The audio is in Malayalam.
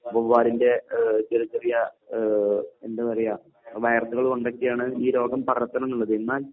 വവ്വാലിൻറെ ഏഹ് ചെറിയ ചെറിയ ഏഹ് എന്താ പറയുക വൈറസുകൾ കൊണ്ടൊക്കെയാണ് ഈ രോഗം പടർത്തണന്നുള്ളത്. എന്നാൽ